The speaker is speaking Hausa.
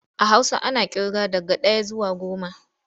A Hausa ana ƙirga daga ɗaya zuwa goma.